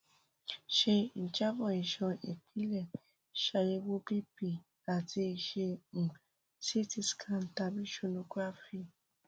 ṣe ijabọ iṣan ipilẹ ṣayẹwo bp um ati ṣe um ct scan tabi sonography